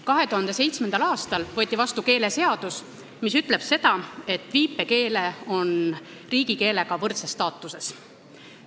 2007. aastal võeti vastu keeleseadus, mis ütleb, et viipekeel on riigikeelega võrdses staatuses.